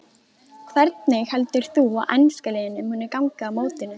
Hvernig heldur þú að enska liðinu muni ganga á mótinu?